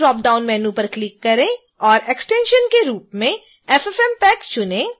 target drop down menu पर click करें और एक्सटेंशन के रूप में ffmpeg चुनें